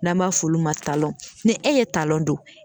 N'an b'a f'olu ma taalɔn ne e ye talɔn don